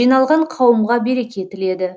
жиналған қауымға береке тіледі